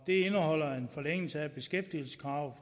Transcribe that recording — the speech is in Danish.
det indeholder en forlængelse af beskæftigelseskravet